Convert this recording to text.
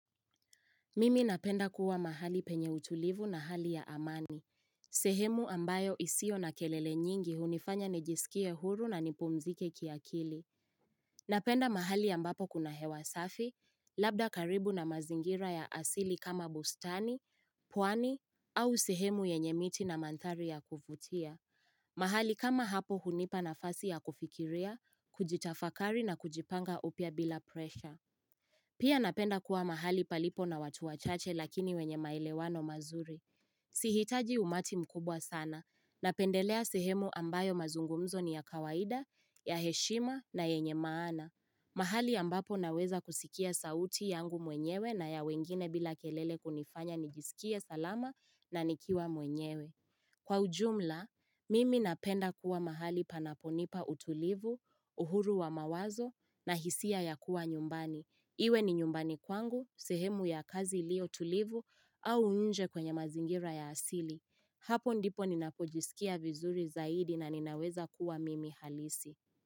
Mimi napenda kuwa mahali penye utulivu na hali ya amani. Sehemu ambayo isiyo na kelele nyingi hunifanya nijisikie huru na nipumzike kiakili. Napenda mahali ambapo kuna hewa safi, labda karibu na mazingira ya asili kama bustani, pwani, au sehemu yenye miti na manthari ya kuvutia. Mahali kama hapo hunipa nafasi ya kufikiria, kujitafakari na kujipanga upya bila presha. Pia napenda kuwa mahali palipo na watu wachache lakini wenye maelewano mazuri. Sihitaji umati mkubwa sana, napendelea sehemu ambayo mazungumzo ni ya kawaida, ya heshima na yenye maana. Mahali ambapo naweza kusikia sauti yangu mwenyewe na ya wengine bila kelele kunifanya nijisikie salama na nikiwa mwenyewe. Kwa ujumla, mimi napenda kuwa mahali panaponipa utulivu, uhuru wa mawazo na hisia ya kuwa nyumbani. Iwe ni nyumbani kwangu, sehemu ya kazi ilio tulivu au nje kwenye mazingira ya asili. Hapo ndipo ninapojisikia vizuri zaidi na ninaweza kuwa mimi halisi.